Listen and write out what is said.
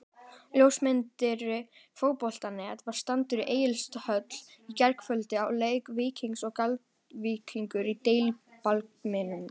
Ljósmyndari Fótbolti.net var staddur í Egilshöll í gærkvöldi á leik Víkings og Grindavíkur í Deildabikarnum.